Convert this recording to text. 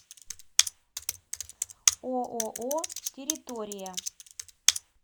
ооо территория